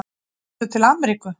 Komstu til Ameríku?